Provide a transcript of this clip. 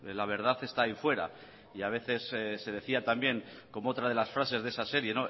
la verdad está ahí fuera y a veces se decía también como otra de las frases de esa serie